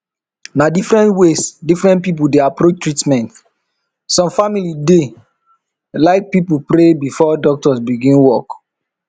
na different ways different people dey approach treatment some family dey like pray before doctors begin work